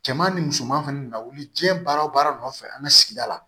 Cɛman ni musoman fɛnɛ nawuli diɲɛ baara o baara nɔfɛ an ka sigida la